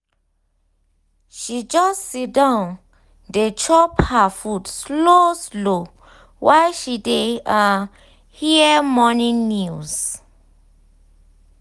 she just siddon dey chop her food slow slow while she dey um hear morning news.